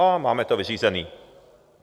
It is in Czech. A máme to vyřízený.